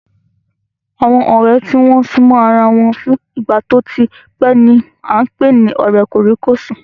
Àwọn ọ̀rẹ́ tí wọ́n súnmọ́ ara wọn fún ìgbà tí ó tí pẹ́ ni à ń pè ní ọ̀rẹ́ kòríkòsùn